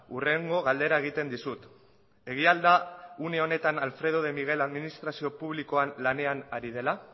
hurrengo galdera egiten dizut egia al da une honetan alfredo de miguel administrazio publikoan lanean ari dela